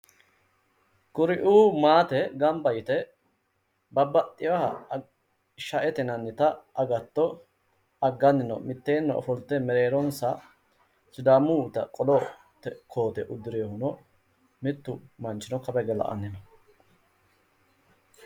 kuri"u maate gamba yite babbaxxeyooha sha"ete agatto agganni no mitteeni ofolte mereeronsa sidamuyiita qolote koote uddireyoohu mittu manchino kawa hige la"anni no